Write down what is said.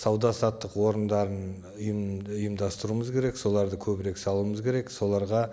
сауда саттық орындарын ы ұйым ұымдастыруымыз керек соларды көбірек салуымыз керек соларға